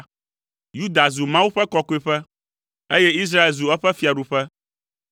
Yuda zu Mawu ƒe kɔkɔeƒe, eye Israel zu eƒe fiaɖuƒe.